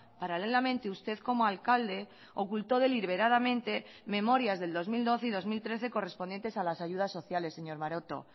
paralelamente usted como alcalde oculto deliberadamente memorias del dos mil doce y dos mil trece correspondientes a las ayudas sociales señor maroto